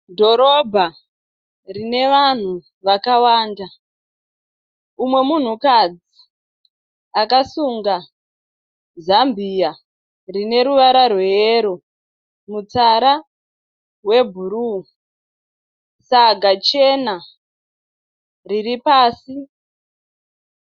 Dhorobha rine vanhu vakawanda, umwe munhukadzi akasunga zambiya rine ruvara rweyero mutsara webhuruu, saga chena riri pasi.